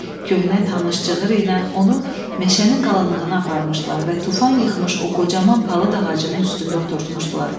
Köhnə tanış cığır ilə onu meşənin qalınlığına aparmışdılar və tufan yıxmış o qocaman palıd ağacının üstündə oturtmuşdular.